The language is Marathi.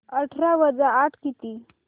अठरा वजा आठ किती